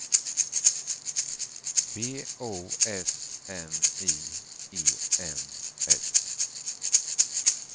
B O S N I E N S